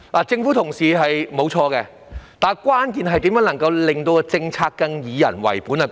政府人員沒有做錯，但關鍵問題在於如何能在政策上更加以人為本。